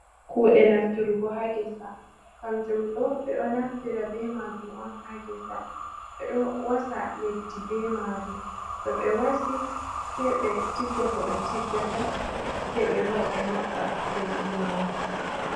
Kuɗe naftirugo ha gésa, kamjum ɗo ɓeɗo naftira ɓe majum on ha gésa ɓeɗo wasà leɗdi ɓe majum, to ɓe wasiï sei ɓe tigga ko ɓe tiggata sei ɓe lora ɓe maɓɓa leɗdi majum.